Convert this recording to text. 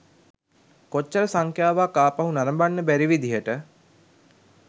කොච්චර සංඛ්‍යාවක් ආපහු නරඹන්න බැරි විදිහට